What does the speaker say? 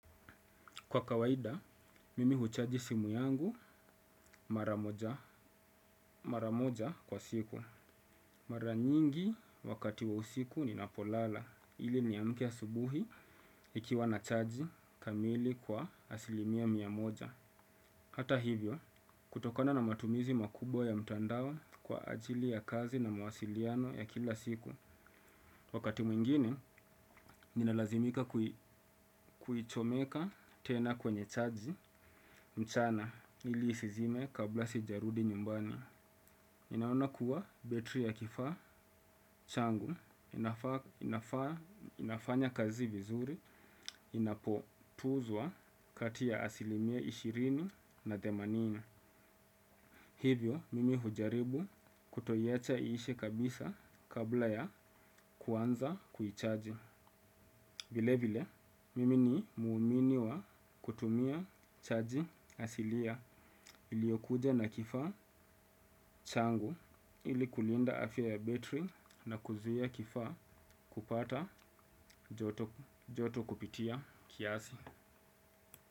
Kwa kawaida, mimi huchaji simu yangu mara moja kwa siku. Mara nyingi wakati wa usiku ninapolala, ili niamke asubuhi ikiwa na chaji kamili kwa asilimia mia moja. Hata hivyo, kutokona na matumizi makubwa ya mtandawa kwa ajili ya kazi na mawasiliano ya kila siku. Wakati mwingine, ninalazimika kuichomeka tena kwenye chaji mchana ili isizime kabla sijarudi nyumbani. Ninaona kuwa betri ya kifaa changu, inafanya kazi vizuri, inapotuzwa kati ya asilimia ishirini na themanini. Hivyo, mimi hujaribu kutoiacha iishe kabisa kabla ya kuanza kuichaji. Vile vile, mimi ni muumini wa kutumia chaji asilia iliokuja na kifaa changu ili kulinda afya ya battery na kuzia kifa kupata joto kupitia kiasi.